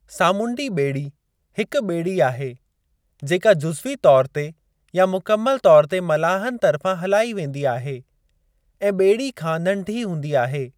सामूंडी ॿेड़ी हिकु ॿेड़ी आहे जेका जुज़वी तौरु ते या मुकमल तौर ते मलाहनि तर्फ़ां हलाई वेंदी आहे ऐं ॿेड़ी खां नंढी हूंदी आहे।